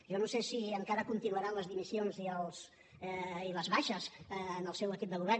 jo no sé si encara continuaran les dimissions i les baixes en el seu equip de govern